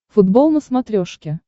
футбол на смотрешке